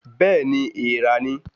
Bẹẹni èèrà ni